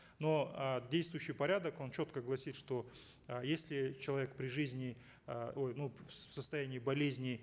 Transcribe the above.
но э действующий порядок он четко гласит что э если человек при жизни э ой ну в состоянии болезни